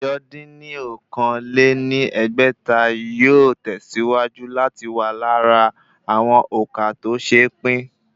Ẹ̀jọ dín ní okòó-lé-ní-ẹgbẹ́ta yóò tẹ̀síwájú láti wà lára àwọn òǹkà tó se pín